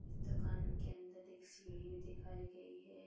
इस दुकान के अंदर एक सीढ़ी भी दिखाई गई हैं।